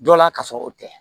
Dɔ la kasɔrɔ o tɛ